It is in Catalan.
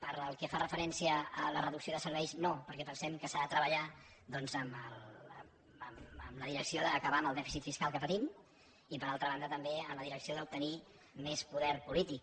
pel que fa referència a la reducció de serveis no perquè pensem que s’ha de treballar doncs en la direcció d’acabar amb el dèficit fiscal que patim i per altra banda també en la direcció d’obtenir més poder polític